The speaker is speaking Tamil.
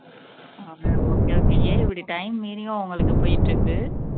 okay okay ஏன் இப்படி time மீறியும் உங்களுக்கு போயிட்டு இருக்கு